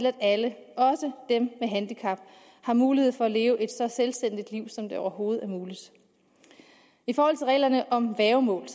at alle også dem med handicap har mulighed for at leve et så selvstændigt liv som det overhovedet er muligt i forhold til reglerne om værgemål